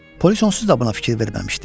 Polis onsuz da buna fikir verməmişdi.